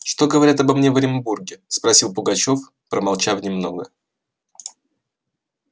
что говорят обо мне в оренбурге спросил пугачёв промолчав немного